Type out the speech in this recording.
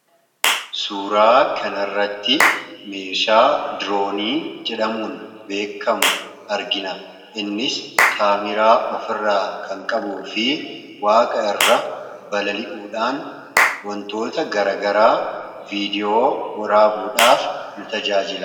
Suuraa kana irratti meeshaa diroonii jedhamuun beekamu argina; innis kaameraa of irraa kan qabu fi waaqa irra balali'uudhaan wantoota garagara viidiyoo waraabuudhaaf nu tajaajila.